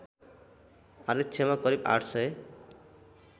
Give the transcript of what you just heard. आरक्षमा करिब ८ सय